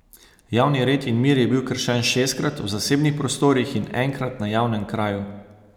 Javni red in mir je bil kršen šestkrat v zasebnih prostorih in enkrat na javnem kraju.